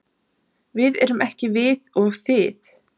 Við erum ekki við og þið.